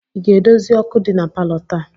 Ị ga-edozi ọkụ dị na palọ taa?